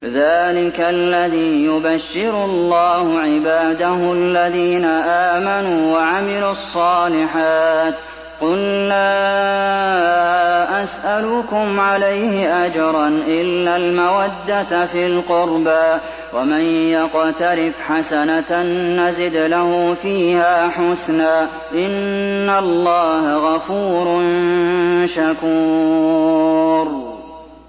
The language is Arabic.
ذَٰلِكَ الَّذِي يُبَشِّرُ اللَّهُ عِبَادَهُ الَّذِينَ آمَنُوا وَعَمِلُوا الصَّالِحَاتِ ۗ قُل لَّا أَسْأَلُكُمْ عَلَيْهِ أَجْرًا إِلَّا الْمَوَدَّةَ فِي الْقُرْبَىٰ ۗ وَمَن يَقْتَرِفْ حَسَنَةً نَّزِدْ لَهُ فِيهَا حُسْنًا ۚ إِنَّ اللَّهَ غَفُورٌ شَكُورٌ